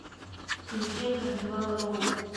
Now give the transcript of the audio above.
включай карнивал роу